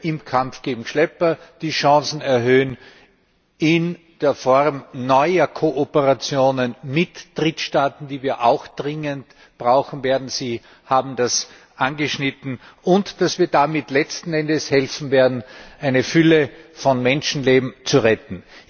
im Kampf gegen Schlepper erhöhen, dass wir die Chancen erhöhen durch neue Kooperationen mit Drittstaaten, die wir auch dringend brauchen werden Sie haben das angeschnitten und dass wir damit letzten Endes helfen werden, eine Fülle von Menschenleben zu retten.